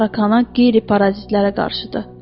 bitə, tarakana, qeyri-parazitlərə qarşıdır.